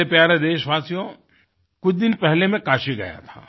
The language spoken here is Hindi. मेरे प्यारे देशवासियो कुछ दिन पहले मैं काशी गया था